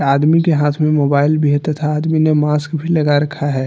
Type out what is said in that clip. आदमी के हाथ में मोबाइल भी हैं तथा आदमी ने मास्क भी लगा रखा है।